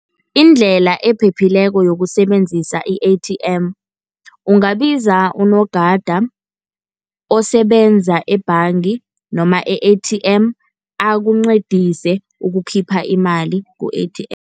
Indlela ephephileko yokusebenzisa i-A_T_M, ungabiza unogada osebenza ebhanga noma e-A_T_M akuncedise ukukhipha imali ku-A_T_M.